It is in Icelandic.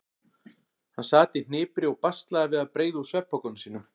Hann sat í hnipri og baslaði við að breiða úr svefnpokanum sínum.